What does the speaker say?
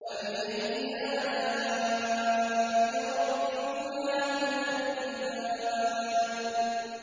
فَبِأَيِّ آلَاءِ رَبِّكُمَا تُكَذِّبَانِ